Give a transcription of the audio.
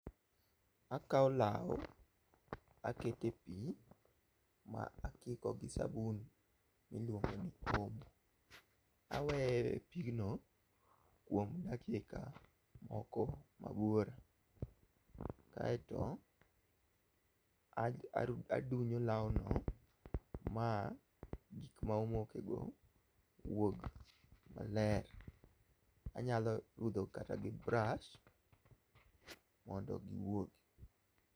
Akawo law aketepi ma akiko gi sabun miluongo ni omo. Aweye epigno kuom dakika moko ma buora. Kaeto aru adunyo lawno ma gik ma omokego wuog maler. Anyalo rudho kata gi bras mondo giwuogi.